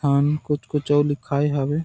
हम कुछ कुछ और लिखाये हवे--